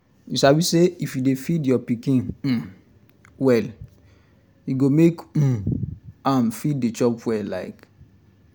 you sabi say if you dey feed your pikin um well e go make um am fit um dey chop well like